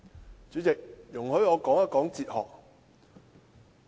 代理主席，容許我談談哲學。